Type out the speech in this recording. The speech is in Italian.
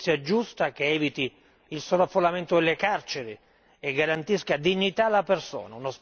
Una giustizia giusta che eviti il sovraffollamento delle carceri e garantisca dignità alla persona.